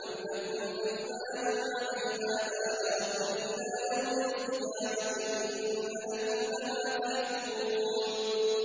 أَمْ لَكُمْ أَيْمَانٌ عَلَيْنَا بَالِغَةٌ إِلَىٰ يَوْمِ الْقِيَامَةِ ۙ إِنَّ لَكُمْ لَمَا تَحْكُمُونَ